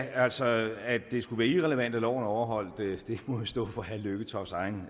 altså at det skulle være irrelevant at loven er overholdt må jo stå for herre lykketofts egen